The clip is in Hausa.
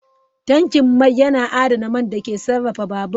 Tankin mai yana adana man da ke sarrafa babur.